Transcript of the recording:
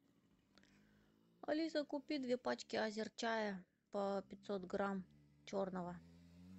алиса купи две пачки азерчая по пятьсот грамм черного